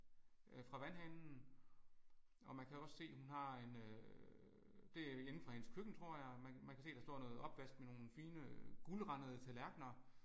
Fra vandhanen og man kan også se hun har en øh det er inde fra hendes køkken tror jeg man kan se der står noget opvask med nogle fine guldrandede tallerkener